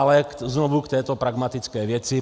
Ale znovu k této pragmatické věci.